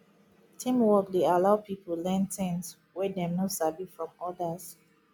teamwork dey allow pipo learn things wey dem no sabi from others